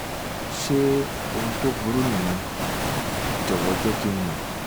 ṣé ohun tó burú nìyẹn? jọ̀wọ́ jẹ́ kí n mọ̀